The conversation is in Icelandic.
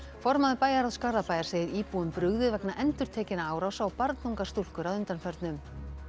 formaður bæjarráðs Garðabæjar segir íbúum brugðið vegna endurtekinna árása á barnungar stúlkur að undanförnu